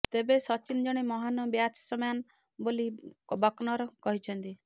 ତେବେ ସଚିନ ଜଣେ ମହାନ ବ୍ୟାଟସମ୍ୟାନ ବୋଲି ବକନର୍ କହିଛନ୍ତି